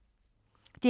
DR P2